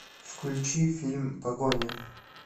включи фильм погоня